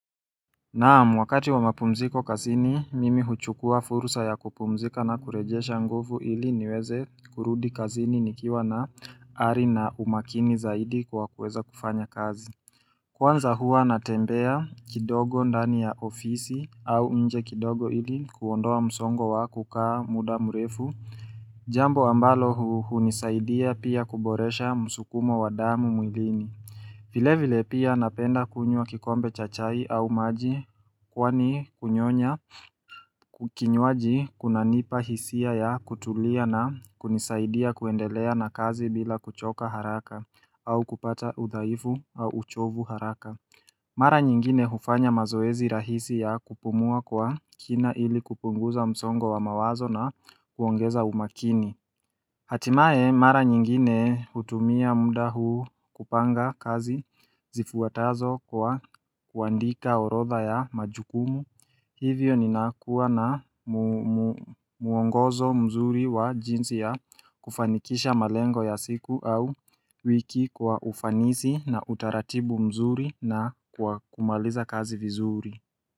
Naam, wakati wa mapumziko kazini, mimi huchukua fursa ya kupumzika na kurejesha nguvu ili niweze kurudi kazini nikiwa na ari na umakini zaidi kwa kuweza kufanya kazi. Kwanza hua natembea kidogo ndani ya ofisi au inje kidogo ili kuondoa msongo wa kukaa muda murefu. Jambo ambalo hunisaidia pia kuboresha musukumo wa damu mwilini. Vile vile pia napenda kunyua kikombe cha chai au maji kwani kunyonya kinywaji kunanipa hisia ya kutulia na kunisaidia kuendelea na kazi bila kuchoka haraka au kupata udhaifu au uchovu haraka. Mara nyingine hufanya mazoezi rahisi ya kupumua kwa kina ili kupunguza msongo wa mawazo na kuongeza umakini. Hatimae mara nyingine hutumia muda huu kupanga kazi zifuatazo kwa kuandika orodha ya majukumu Hivyo ninakuwa na muongozo mzuri wa jinsi ya kufanikisha malengo ya siku au wiki kwa ufanisi na utaratibu mzuri na kwa kumaliza kazi vizuri.